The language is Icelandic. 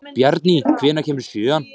Bjarný, hvenær kemur sjöan?